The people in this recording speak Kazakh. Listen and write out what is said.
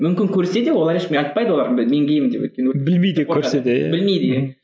мүмкін көрсе де олар ешкімге айтпайды олар мен геймін деп білмейді иә